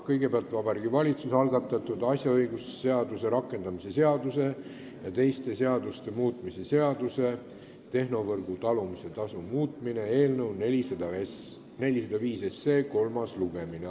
Kõigepealt Vabariigi Valitsuse algatatud asjaõigusseaduse rakendamise seaduse ja teiste seaduste muutmise seaduse eelnõu 405 kolmas lugemine.